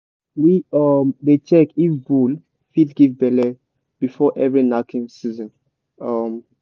we um dey check if bull fit give belle before every knacking season. um